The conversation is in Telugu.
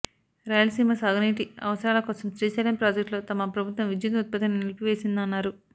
రాయలసీమ సాగునీటి అవసరాల కోసం శ్రీశైలం ప్రాజెక్టులో తమ ప్రభుత్వం విద్యుత్ ఉత్పత్తిని నిలిపి వేసిందన్నారు